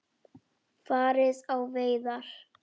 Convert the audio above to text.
Farið á veiðar.